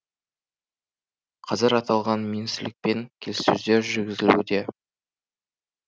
қазір аталған министрлікпен келіссөздер жүргізілуде